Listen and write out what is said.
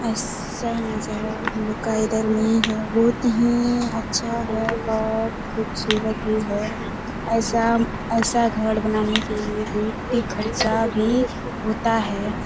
ऐसा नजारा हम लोग का इधर नहीं है बहुत ही अच्छा है और खूबसूरत भी है ऐसा ऐसा घर बनाने के लिए बहुत ही खर्चा भी होता है|